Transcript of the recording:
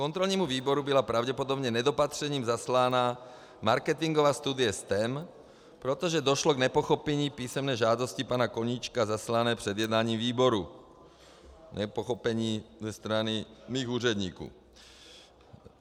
Kontrolnímu výboru byla pravděpodobně nedopatřením zaslána marketingová studie STEM, protože došlo k nepochopení písemné žádosti pana Koníčka zaslané před jednáním výboru, nepochopení ze strany mých úředníků.